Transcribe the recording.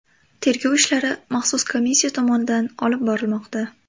Tergov ishlari maxsus komissiya tomonidan olib borilmoqda.